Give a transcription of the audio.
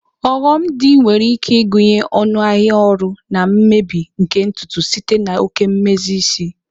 Oghom di nwere ike ịgụnye ọnụ ahịa ọrụ na mmebi nke ntutu site na oke mmezi isi.